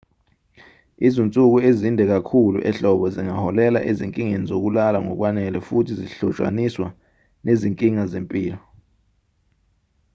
izinsuku ezinde kakhulu ehlobo zingaholela ezinkingeni zokulala ngokwanele futhi zihlotshaniswa nezinkinga zempilo